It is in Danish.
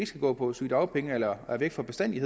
skal gå på sygedagpenge eller er væk for bestandig